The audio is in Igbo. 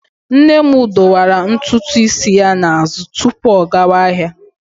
Nne m dọwara ntutu isi ya n'azụ tupu ọ gawa ahịa.